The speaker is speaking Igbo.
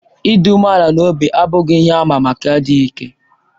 Ịdị umeala n'obi abụghị ihe àmà maka adịghị ike.